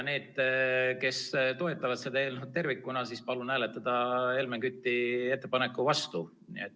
Need, kes toetavad seda eelnõu tervikuna, palun hääletage Helmen Küti ettepaneku nr 2 vastu.